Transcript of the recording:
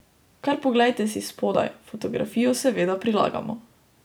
Kar poglejte si spodaj, fotografijo seveda prilagamo.